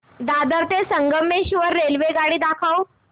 दादर ते संगमेश्वर रेल्वेगाडी दाखव